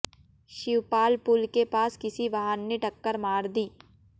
शिवपालपुल के पास किसी वाहन ने टक्कर मार दी